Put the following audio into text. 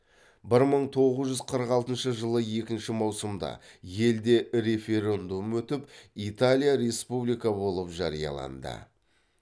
бір мың тоғыз жүз қырық алтыншы жылы екінші маусымда елде референдум өтіп италия республика болып жарияланды